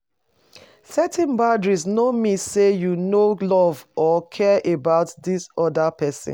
Setting boundaries no mean say you no love or care about di oda pesin.